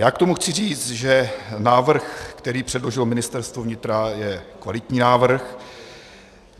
Já k tomu chci říct, že návrh, který předložilo Ministerstvo vnitra, je kvalitní návrh.